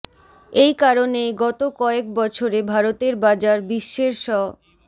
এই কারনেই গত কয়েক বছরে ভারতের বাজার বিশ্বের স